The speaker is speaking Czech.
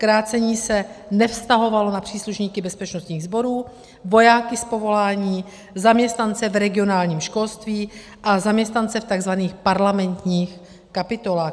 Krácení se nevztahovalo na příslušníky bezpečnostních sborů, vojáky z povolání, zaměstnance v regionálním školství a zaměstnance v tzv. parlamentních kapitolách.